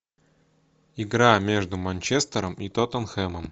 игра между манчестером и тоттенхэмом